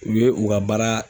U ye u ka baara